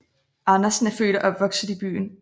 Andersen er født og opvokset i byen